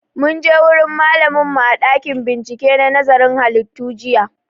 Mun je wurin malamin mu a ɗakin bincike na nazarin halittu jiya